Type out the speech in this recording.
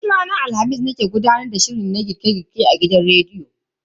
Duk ranar Alhamis nake gudanar da shiri na na girke girke a gidan rediyo.